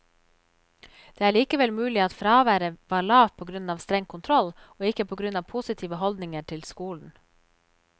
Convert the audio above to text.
Det er likevel mulig at fraværet var lavt på grunn av streng kontroll, og ikke på grunn av positive holdninger til skolen.